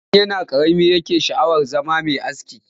Tun yana ƙarami yake sha'awar zama mai aski